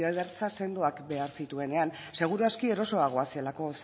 sendoak behar zituenean segur aski erosoago zelako